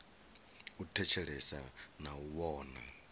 u thetshelesa na u vhona